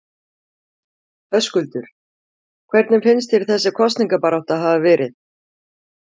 Höskuldur: Hvernig finnst þér þessi kosningabarátta hafa verið?